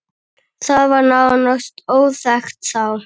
Það var nánast óþekkt þá.